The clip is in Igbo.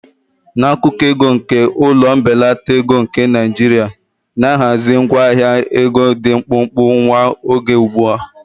N'akụkọ ego nke ụlọ mbelata ego nke Naijiria, na ahazi ngwa ahịa ego dị mkpụmkpụ nwa oge ugbu a.